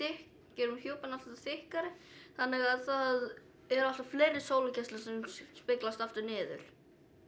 gerum hjúpinn alltaf þykkari þannig að það eru alltaf fleiri sólargeislar sem speglast aftur niður